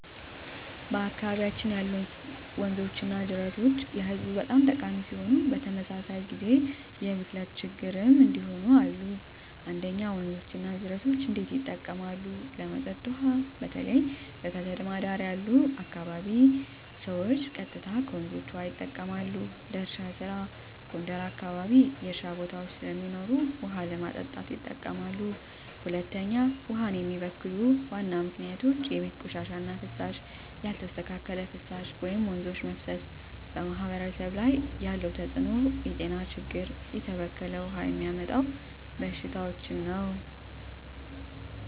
በአካባቢያችን ያሉ ወንዞችና ጅረቶች ለህዝቡ በጣም ጠቃሚ ሲሆኑ፣ በተመሳሳይ ጊዜ የብክለት ችግኝ እንዲሁም አለ። 1. ወንዞች እና ጅረቶች እንዴት ይጠቀማሉ? ለመጠጥ ውሃ: በተለይ በከተማ ዳር አካባቢ ያሉ ሰዎች ቀጥታ ከወንዞች ውሃ ይጠቀማሉ። ለእርሻ ስራ: ጎንደር አካባቢ የእርሻ ቦታዎች ስለሚኖሩ ውሃ ለማጠጣት ይጠቀማሉ። 2. ውሃን የሚበክሉ ዋና ምክንያቶች የቤት ቆሻሻ እና ፍሳሽ: ያልተስተካከለ ፍሳሽ ወደ ወንዞች መፍሰስ 3. በማህበረሰብ ላይ ያለው ተጽዕኖ የጤና ችግኝ: የተበከለ ውሃ የሚያመጣው በሽታዎች